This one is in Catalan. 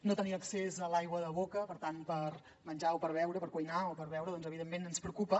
no tenir accés a l’aigua de boca per tant per menjar o per beure per cuinar o per beure evidentment ens preocupa